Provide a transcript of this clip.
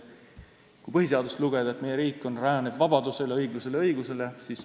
Kui põhiseadust lugeda, siis meie riik rajaneb vabadusel, õiglusel ja õigusel.